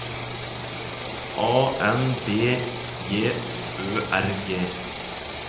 A N B J Ø R G